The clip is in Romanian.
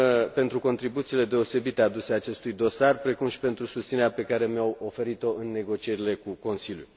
pentru contribuțiile deosebite aduse acestui dosar, precum și pentru susținerea pe care mi au oferit o în negocierile cu Consiliul.